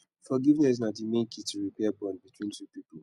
forgiveness na di main key to repair bond between two people